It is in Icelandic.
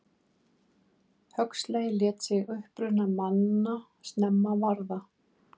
Huxley lét sig uppruna manna snemma varða.